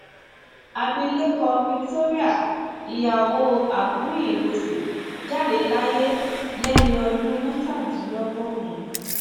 abilékọ victoria ìyàwó aguiyi ironsi jáde láyé lẹni ọdún mẹtàdínlọgọrùn